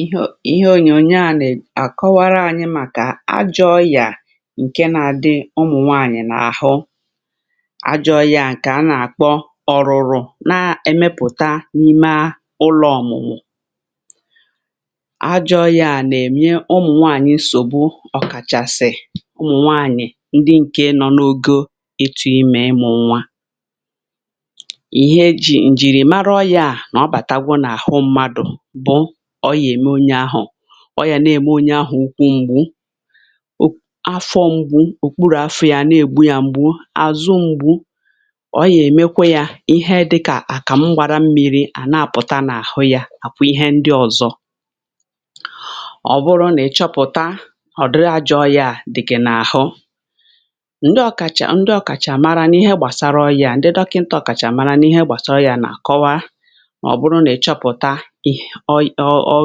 Íhè ọ íhè ònyónyò à nà-àkọ́ wara ànyị màkà ájọ ọ́yịà ǹké nà-ádị ụmụ́nwáànyị̀ nà-àhụ, ájọ ọ́yịà ǹké a nà-àkpọ́""ọ́rụ́rụ́"" nà-ème pùtá n’ímé ụ̀lọ̇ ọ̀mụ̀mụ̀. Ájọ ọ́yịà nà-èmié ụ̀mụ̀nwáànyị̀ nsọ̀gbú ọkàchàsị̀ ụ̀mụ̀nwáànyị̀ ndị ǹké nọ̀ n’ògò ịtụ ímè ịmú nwá. Íhè ejí̇ ńjìrìmára ọ́yịà nà-ọ̀bàtá gwó n'áhụ mmádụ̀ bụ́ọ́yà èmé ónye áhụ́ ọ́ yà nà-èmé ónye áhụ́ ụ́kwụ̇ m̀gbù, áfọ̇ m̀gbù, ụ̀kpụrụ̀ áfọ̇ yà nà-ègbú yȧ m̀gbù, ázụ m̀gbù. Ọ́yà-èmékwè yà íhè dịkà ákàmụ̀ gbàrà mmi̇rì à nà-àpụ̀tá n’áhụ yà, àkwá íhè ndí ọ̀zọ́. Ọ̀ bụ̀rụ̀ nà ịchọpụ̀ta ọ̀ dịrị ájọ ọ́yịà dí̀ gị n’áhụ, ndí ọ̀kàchà ndí ọ̀kàchàmàrá n’íhè gbàsárà ọ́yịà ndí dọ́kìntà ọ̀kàchàmàrá n’íhè gbàsárà ọ́yịà nà-àkọwa. Ọ́ bụrụ nà ịchọpụ̀ta íhè ọ́ ọ́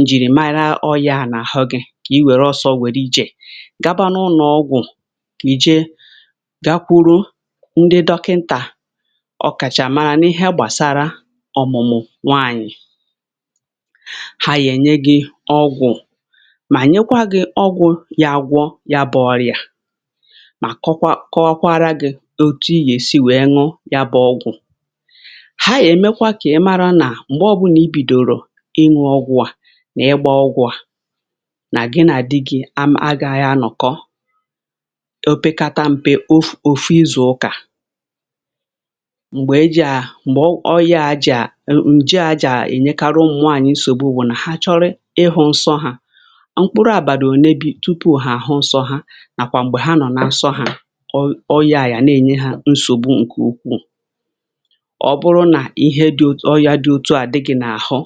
ńjìrìmára ọ́yịà à nà-àhụ gị, kà í wéré òsò̇ wèé rù ijé gá bá n’ụlọ̀ ọ́gwụ̀, ké ijé gákwùrù ndí dọ́kìntà ọ̀kàchàmàrá n’íhè gbàsàrá ọ̀mụ̀mụ̀ nwáànyị. Há yènyé gị ọ́gwụ̀, má nyékwa gị ọ́gwụ̀ yà àgwọ́ yà bụ́ ọ́yịà, mà kọ́ọ̀kwa kọ́ọ̀kwara gị òtú yȧ èsí wèe ṅụ́ yá bụ ọ́gwụ̀. Há yà èmékwá kà í márá nà, mgbe ọ́ bụla í bídòrò ínụ́ ọ́gwụ̇ à nà ígbȧ ọ́gwụ̇ à nà gị, nà dí gị̇ àmà, à gàghi ànọ̀kọ̀ opekátà mpė ọ́fụ́ ọ́fụ́ ízù ụ́kà m̀gbè e jì, à m̀gbè ọ́yịà ájá m̀j̀ è ènyékárụ̀ ùmụ̀nwàányị nsọ̀gbu, bụ̀ nà há chọ́rọ íhụ nsọ hȧ mkpụ́rụ́ àbàrà ònébì, túpù há áhụ́ nsọ há, nàkwa m̀gbè há nọ̀ n'ásọ hȧ, ọ́yịà yà nà-ènyé hȧ nsọ̀gbù ǹké ukwù. Ọ́ bụrụ̀ nà íhè dị ọ́yịà dị òtú à dị gị̇ n'áhụ,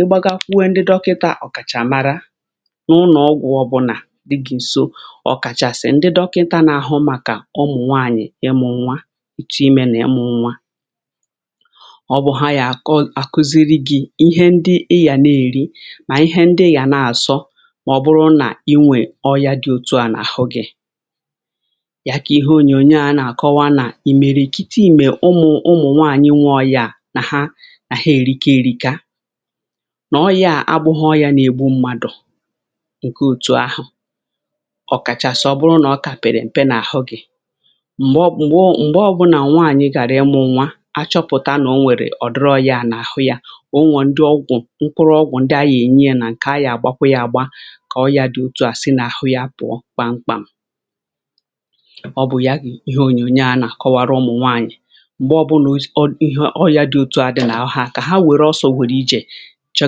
í gbágakwúó ndí dọ́kìntà ọ̀kàchàmàrá n'ùnọ̀ọ́gwụ̀, ọ́ bụ́là dí gị ǹsò ọ̀kàchàsị̀ ndí dọ́kìnta n’áhụ màkà ụ̀mụ̀ nwáànyị̀ ịmụ̀ nwá, ịtù ímė nà ịmụ̀ nwá. Ọ́ bụ́̀ hà yà àkọ́ àkụ́zìrì gị̇ íhè ndí í yà nà-èrí, má íhè ndí í yà nà-àsọ. Má ọ́bụ̀rụ̀ nà í nwè ọ́yịà dị òtù à nà àhụ gị̀ yà kà íhè ònyónyò a nà-àkọ́wá nà ì mèrè kítí í mèé ùmụ̀ ụmụ̀ nwáànyị nwè ọ́yịà nà há nà há èrí ká èrí ká, nà ọ́yịà àbụ̀ghị ọ́yịà nà-ègbù mmádụ̀ ǹké òtú àhụ̀. Ọ̀kàchàsị ọ́ bụrụ́ nà ọ́ kà pèrèm̀pè n'àhụ gị m̀gbè ọ́ bụ nà nwáànyị gárà ímụ nwá, àchọpụ̀tá nà ò nwèrè ọ̀dì̀rọ̀ ọ́yịà n'àhụ yȧ. Ọ̀nwò ndí ọ́gwụ̀ ńkwụ́ rù ọ́gwụ̀ ndí àhụ̀ ényè yȧ, nà ǹké àhá à gbàkwà yà àgbà, kà ọ́yịà dị òtú à sì n'àhụ yȧ pụ̀ọ̀kpá mkpám. Ọ́ bụ̀ yà gị íhè ònyónyò a nà-àkọ́wárụ̀ ụmụ́nwáànyị, m̀gbè ọ́ bụ̇ nà o íhè ọ́yịà dị òtú à dị n'áhụ há, kà há wéré òso wérù ijé cho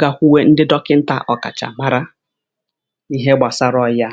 gá kwùé ndí dọ́kìntà ọ̀kàchà màrá n'íhè gbasárà ọ́yịà.